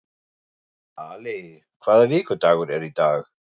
Ali, hvaða vikudagur er í dag?